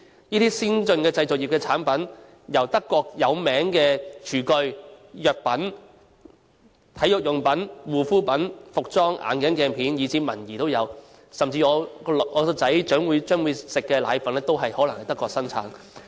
這些先進製造業的產品，由著名的廚具、藥品、體育用品、護膚品、服裝、眼鏡鏡片以至文儀，甚至我的兒子將會食用的奶粉，都可能是德國本土生產的。